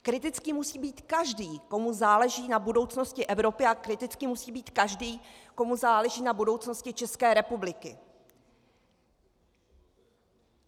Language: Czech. Kritický musí být každý, komu záleží na budoucnosti Evropy, a kritický musí být každý, komu záleží na budoucnosti České republiky.